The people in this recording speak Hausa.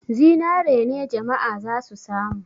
Zinare ne jama'a za su samu.